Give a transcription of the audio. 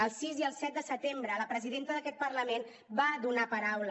el sis i el set de setembre la presidenta d’aquest parlament va donar paraula